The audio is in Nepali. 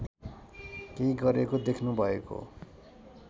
केही गरेको देख्नुभएको